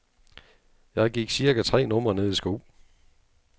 Jeg gik cirka tre numre ned i sko.